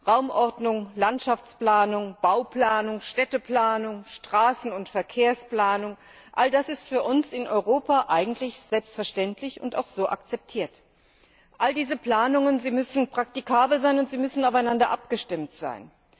Raumordnung, Landschaftsplanung, Bauplanung, Städteplanung, Straßen und Verkehrsplanung all das ist für uns in Europa eigentlich selbstverständlich und auch so akzeptiert. All diese Planungen müssen praktikabel und aufeinander abgestimmt sein.